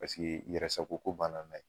Paseke yɛrɛ sago ko banna na ye